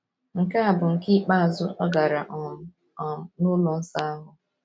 Nke a bụ nke ikpeazụ ọ gara um um n’ụlọ nsọ ahụ.